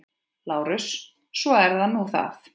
LÁRUS: Svo er nú það.